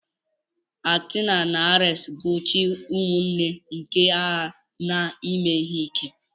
Athena na Ares bụ chi ụmụnne nke agha na ime ihe ike.